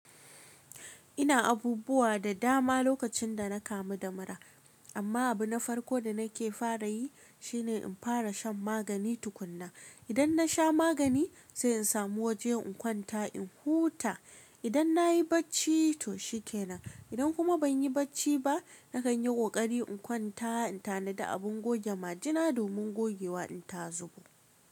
Ina abubuwa da dama lokacin da na kamu da mura, amma abu na farko da nake fara yi shine in fara shan magani tukuna. Idan nasha magani sai in samu waje in kwanta in huta. Idan nayi bacci to shikenan. Idan kuma ban yi bacci ba nakan yi ƙoƙari in kwanta, in tanada abin goge majina domin gogewa in ta zo.